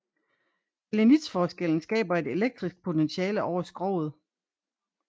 Salinitsforskellen skaber et elektrisk potentiale over skroget